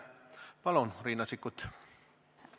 Palun, Riina Sikkut!